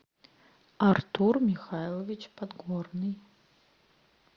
артур михайлович подгорный